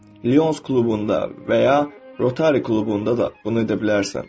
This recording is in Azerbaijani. Lions klubunda və ya Rotary klubunda da bunu edə bilərsən.